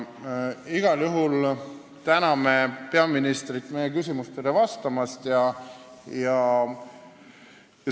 Igal juhul täname peaministrit meie küsimustele vastamast!